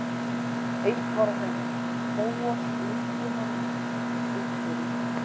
Eitt var á hreinu: Bóas leyndi hann einhverju.